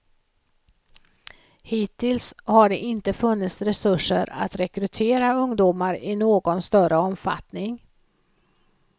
Hittills har det inte funnits resurser att rekrytera ungdomar i någon större omfattning.